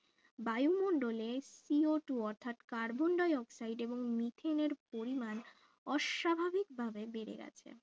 বায়ুমণ্ডলের co two অর্থাৎ carbon dioxide এবং মিথেনের পরিমাণ অস্বাভাবিক ভাবে বেড়ে গেছে